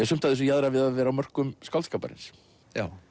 sumt af þessu jaðrar við að vera á mörkum skáldskaparins